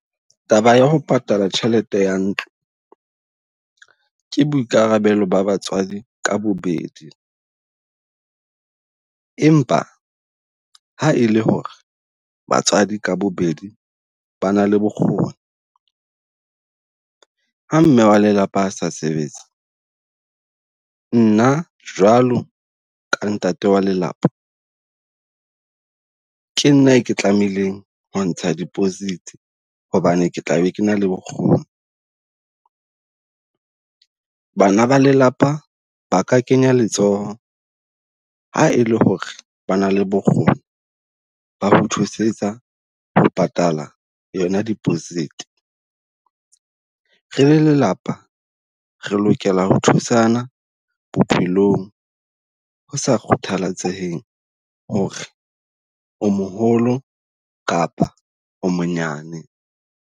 Taba ya ho patala tjhelete ya ntlo, ke boikarabelo ba batswadi ka bobed. Empa ha e le ho re batswadi ka bobedi ba na le bokgoni. Ha mme wa lelapa a sa sebetse nna jwalo ka ntate wa lelapa, ke nna e ke tlameileng ho ntsha deposit hobane ke tla be ke na le bokgoni. Bana ba lelapa ba ka kenya letsoho ha e le ho re ba na le bokgoni, ba re thusetsa ho patala yona deposit. Re le lelapa re lokela ho thusana bophelong, ho sa kgathalatsehe ho re o moholo kapa o monyane.